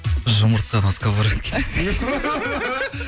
жұмыртқа на сковородке десең